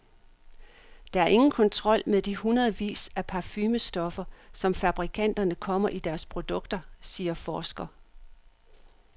Der er ingen kontrol med de hundredvis af parfumestoffer, som fabrikanterne kommer i deres produkter, siger forsker.